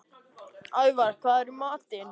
Ævar, hvað er í matinn?